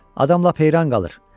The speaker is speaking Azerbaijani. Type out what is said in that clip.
Adam lap heyran qalır.